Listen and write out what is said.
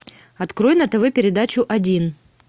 открой на тв передачу один